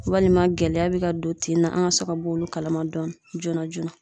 Walima gɛlɛya bi ka don tin na an ga se ka b'olu kala ma dɔɔni joona joona